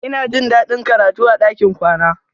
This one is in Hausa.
Ina jin daɗin karatu a ɗakin kwana.